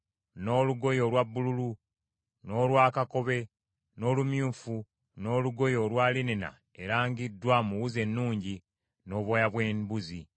n’olugoye olwa bbululu, n’olwa kakobe, n’olumyufu, n’olugoye olwa linena erangiddwa mu wuzi ennungi; n’obwoya bw’embuzi,